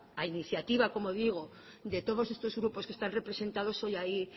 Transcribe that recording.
a iniciativa de todos estos grupos que están representados hoy ahí